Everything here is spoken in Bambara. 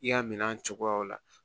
I y'a minɛ a cogoyaw la